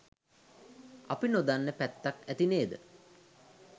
අපි නොදන්න පැත්තක් ඇති නේද?